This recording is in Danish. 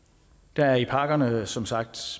der er i pakkerne som sagt